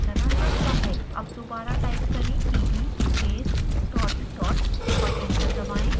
अब दोबारा टाइप करें cd space dot dot और एंटर दबाएं